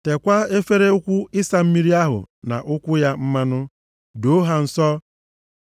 Tekwaa efere ukwu ịsa mmiri ahụ na ụkwụ ya mmanụ. Doo ha nsọ.